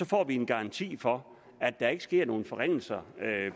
får vi en garanti for at der ikke sker nogen forringelser